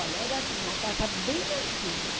Olha, era assim uma casa bem antiga.